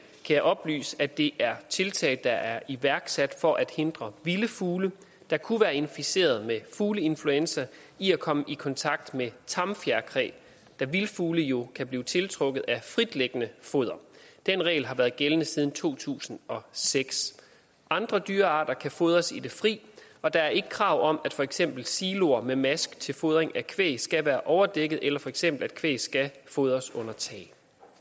jeg oplyse at det er tiltag der er iværksat for at hindre vilde fugle der kunne være inficeret med fugleinfluenza i at komme i kontakt med tamt fjerkræ da vilde fugle jo kan blive tiltrukket af fritliggende foder den regel har været gældende siden to tusind og seks andre dyrearter kan fodres i det fri og der er ikke krav om at for eksempel siloer med mask til fodring af kvæg skal være overdækket eller for eksempel at kvæg skal fodres under tag